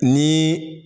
Ni